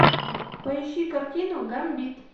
поищи картину гамбит